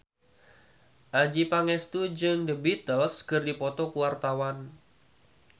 Adjie Pangestu jeung The Beatles keur dipoto ku wartawan